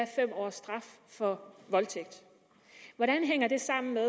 fem års straf for voldtægt hvordan hænger det sammen at